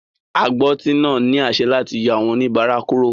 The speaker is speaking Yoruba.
Agbọ́tí náà ní àṣẹ láti yọ àwọn oníbàárà kúrò.